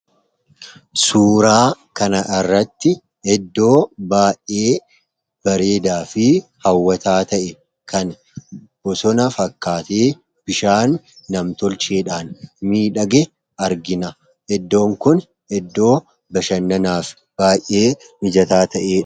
suuraa kana irratti iddoo baay'ee bareedaa fi hawwataa ta'e kan bosona fakkaatee bishaan namtolcheedhaan midhage argina. Iddoon kun iddoo bashannanaaf baay'ee mijataa ta'e.